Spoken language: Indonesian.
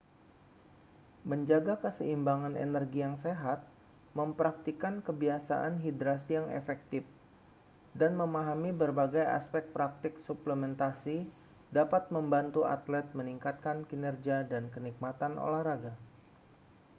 menjaga keseimbangan energi yang sehat mempraktikkan kebiasaan hidrasi yang efektif dan memahami berbagai aspek praktik suplementasi dapat membantu atlet meningkatkan kinerja dan kenikmatan olahraga